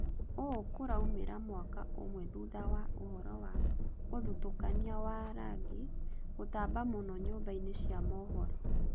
Ũũ kũraumĩra mwaka ũmwe thutha wa ũhoro wa ũthutũkania wa rangi gũtamba mũno nyũmba-inĩ cia mohoro